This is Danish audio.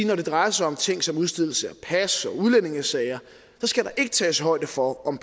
når det drejer sig om ting som udstedelse af pas og udlændingesager skal der ikke tages højde for om